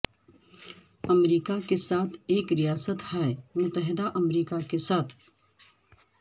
امریکہ کے ساتھ ایک ریاست ہائے متحدہ امریکہ کے ساتھ